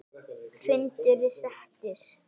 Fundur er settur!